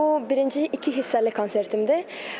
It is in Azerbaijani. Bu birinci iki hissəli konsertimdir.